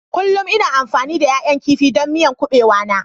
Kullum ina amfani da ƴaƴan kifi don miyan kubewa na.